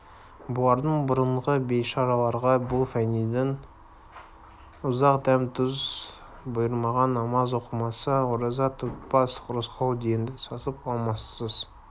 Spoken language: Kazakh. бұлардан бұрынғы бейшараларға бұл фәниден ұзақ дәм-тұз бұйырмаған намаз оқымас ораза тұтпас рысқұл енді сасып амалсыз